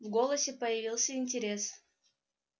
в голосе появился интерес